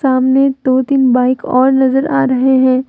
सामने दो तीन बाइक और नज़र आ रहे हैं।